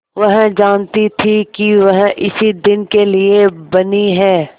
वह जानती थी कि वह इसी दिन के लिए बनी है